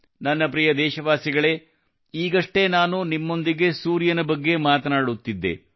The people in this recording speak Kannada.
ನನ್ನ ಪ್ರಿಯ ದೇಶವಾಸಿಗಳೇ ಈಗಷ್ಟೇ ನಾನು ನಿಮ್ಮೊಂದಿಗೆ ಸೂರ್ಯನ ಬಗ್ಗೆ ಮಾತನಾಡುತ್ತಿದ್ದೆ